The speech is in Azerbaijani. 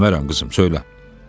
Demərəm qızım, söylə.